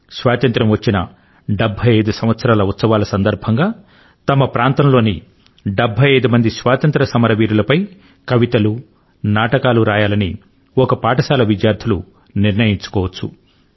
స్వాతంత్య్రం వచ్చిన 75 సంవత్సరాల ఉత్సవాల సందర్భం లో తమ ప్రాంతంలోని 75 మంది స్వాతంత్ర్య సమర వీరులపై కవితలు నాటకాలు రాయాలని ఒక పాఠశాల విద్యార్థులు నిర్ణయించుకోవచ్చు